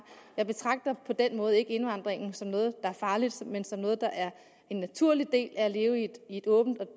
på den måde ikke indvandringen som noget der er farligt men som noget der er en naturlig del af at leve i et åbent